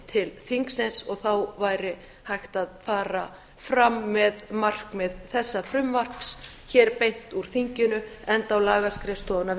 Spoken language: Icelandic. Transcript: til þingsins og þá væri hægt að fara fram með markmið þessa frumvarps hér beint úr þinginu enda á lagaskrifstofa að